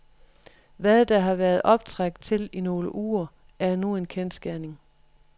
Hvad der har været optræk til i nogle uger, er nu en kendsgerning.